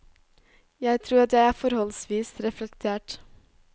Jeg tror at jeg er forholdsvis reflektert.